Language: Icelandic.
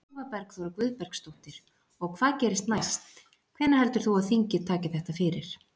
Eva Bergþóra Guðbergsdóttir: Og hvað gerist næst, hvenær heldur þú að þingið taki þetta fyrir?